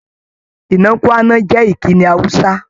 "Nnakwana" jẹ́ ìkíni Hausa.